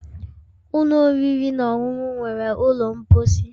Ụlọ oriri na ọṅụṅụ nwere ụlọ mposi